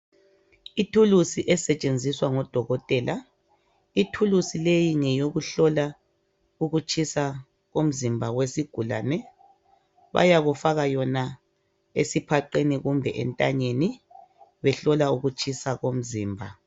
Ithulusi esetshenziswa ngodokotela ithulusi leyi ngeyokuhlola ukutshisa komzimba wesigulane bayakufaka yona esiphaqeni kumbe entanyeni behlola ukutshisa komzimba.